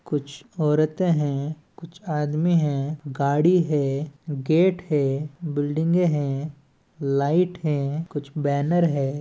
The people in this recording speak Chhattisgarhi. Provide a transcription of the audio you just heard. कुछ औरतें हैं कुछ आदमी हैं गाड़ी हैं गेट हैं बिल्डिंगॆ हैं लाइट हैं कुछ बैनर हैं।